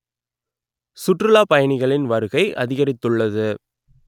சுற்றுலா பயணிகளின் வருகை அதிகரித்துள்ளது